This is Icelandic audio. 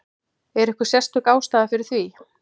Er einhver sérstök ástæða fyrir því?